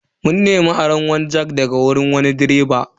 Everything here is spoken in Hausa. Mun nemi aron jack daga wani direba.